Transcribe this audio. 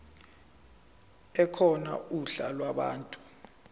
ekhona uhla lwabantu